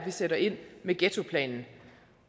vi sætter ind med ghettoplanen